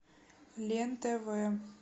лен тв